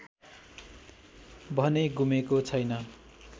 भने गुमेको छैन